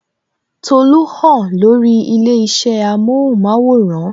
Tolu hàn lórí ilé isẹ amohun maworan